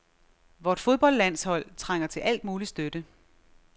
Vort fodboldlandshold trænger til al mulig støtte .